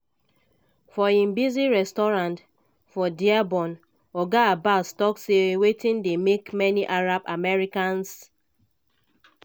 for im busy restaurant for dearborn oga abbas tok say wetin dey make many arab americans